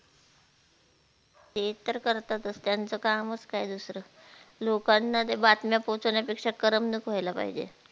ते तर करतातच त्याचं काम च काय दुसरं लोकांना त्या बातम्या पोहचवण्या पेक्षा करमणूक व्हायला पाहिजे.